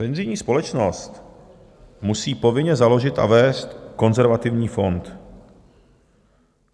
"Penzijní společnost musí povinně založit a vést konzervativní fond.